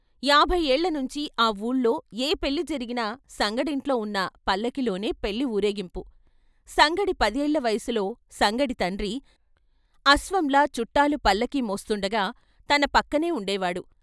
యాభై ఏళ్ళనుంచి ఆ ఊళ్ళో ఏ పెళ్ళి జరిగినా సంగడింట్లోవున్న పల్లకీలోనే పెళ్ళి ఊరేగింపు, సంగడి పదేళ్ళ వయస్సులో సంగడి తండ్రి, అశ్వంలా చుట్టాలు పల్లకీ మోస్తుండగా తను పక్కనే వుండేవాడు.